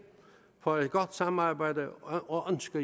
for et godt samarbejde og ønske